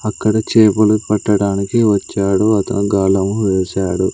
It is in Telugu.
అక్కడ చేపలు పట్టడానికి వచ్చాడు అతను గాళం వేశాడు.